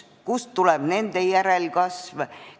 Kust tuleb nende järelkasv?